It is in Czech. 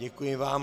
Děkuji vám.